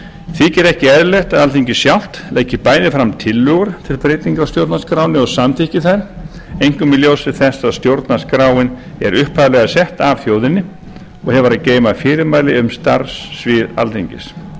þykir ekki eðlilegt að bæði alþingi sjálft leggi fram tillögur til breytinga á stjórnarskránni og samþykki þær einkum í ljósi þess að stjórnarskráin er upphaflega sett af þjóðinni og hefur að geyma fyrirmæli um starfssvið alþingis